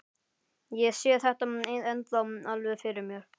Ég sé þetta ennþá alveg fyrir mér.